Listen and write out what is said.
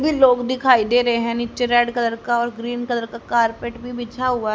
लोग दिखाई दे रहे हैं नीचे रेड कलर का और ग्रीन कलर का कारपेट भी बिछा हुआ--